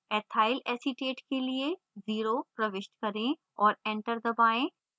ethyl acetate के लिए 0 प्रविष्ट करें और enter दबाएँ